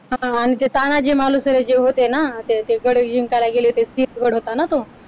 हा आणि ते तानाजी मालुसरे जे होते ना ते गड जिंकायला गेले होते सिंहगड होता ना तो